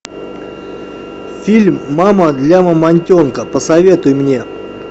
фильм мама для мамонтенка посоветуй мне